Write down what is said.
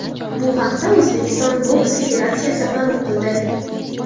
Bu haqda O‘zbekiston boks federatsiyasi ma’lum qildi.